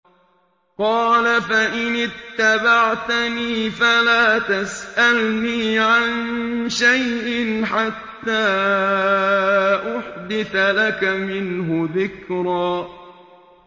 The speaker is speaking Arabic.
قَالَ فَإِنِ اتَّبَعْتَنِي فَلَا تَسْأَلْنِي عَن شَيْءٍ حَتَّىٰ أُحْدِثَ لَكَ مِنْهُ ذِكْرًا